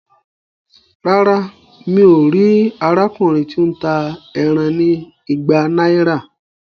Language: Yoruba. Rárá, mí o ríi arákùnrin ti o n tá ẹran ní ìgbà náírà